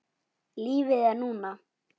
Lífið er núna